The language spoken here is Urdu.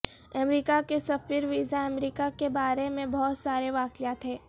امریکہ کے سفیر ویزا امریکہ کے بارے میں بہت سارے واقعات ہیں